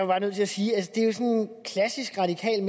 bare nødt til at sige at det er klassisk radikalt